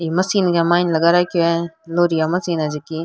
ई मशीन के माइन लगा रखिये है लौह रि मशीन है जकी।